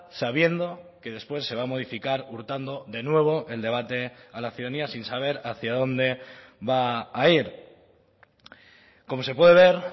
sabiendo que después se va a modificar hurtando de nuevo el debate a la ciudadanía sin saber hacia dónde va a ir como se puede ver